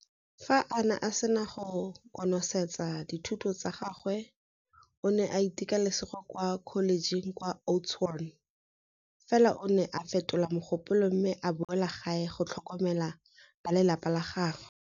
Fa a sena go konosetsa dithuto tsa gagwe o ne a iteka lesego kwa kholejeng kwa Oudtshoorn, fela o ne a fetola mogopolo mme a boela gae go tlhokomela balelapa la gagwe.